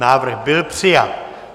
Návrh byl přijat.